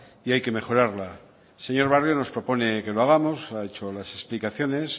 y hay que mejorarla el señor barrio nos propone que lo hagamos ha hecho las explicaciones